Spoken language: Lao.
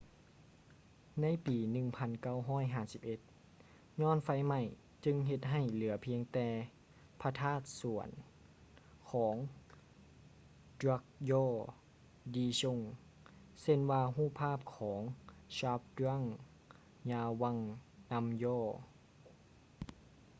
ໃນປີ 1951 ຍ້ອນໄຟໄໝ້ຈຶ່ງເຮັດໃຫ້ເຫຼືອພຽງແຕ່ພະທາດສ່ວນຂອງ drukgyal dzong ເຊັ່ນວ່າຮູບພາບຂອງ zhabdrung ngawang namgyal